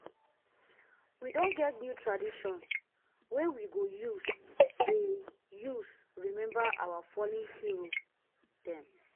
we don get new tradition wey we go dey use rememba our fallen hero dem. um